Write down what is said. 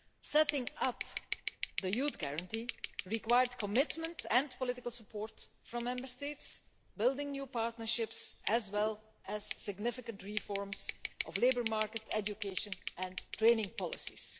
Setting up the Youth Guarantee required commitment and political support from Member States, building new partnerships, as well as significant reforms of the labour market, education and training policies.